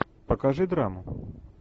покажи драму